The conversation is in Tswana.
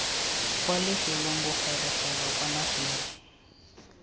kwa lefelo bogorogelo kwa nageng